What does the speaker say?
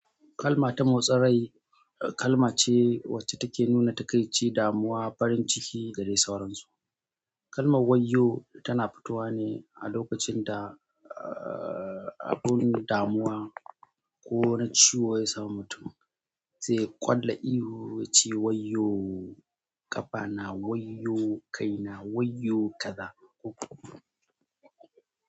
Kalma ta motsin rai kalma ce wacce take nuna takaici, damuwa, farin ciki da dai sauransu. Kalmar "wayyo" tana fitowa ne a lokacin da, uh, abun damuwa ko na ciwo ya samu mutum, zai kwalla ihu ya ce wayyo ƙafa na, wayyo kai na, wayyo kaza uku.